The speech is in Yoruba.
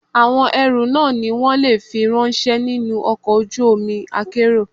Àwọn ẹrú náà ni wón le fi ráńṣẹ́ nínú ọkọ̀ ojú omi akérò.